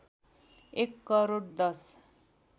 एक करोड १०